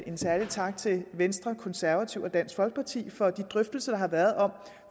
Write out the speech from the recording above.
en særlig tak til venstre konservative og dansk folkeparti for de drøftelser der har været om